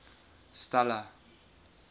stella